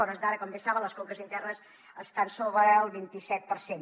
a hores d’ara com bé saben les conques internes estan sobre el vint i set per cent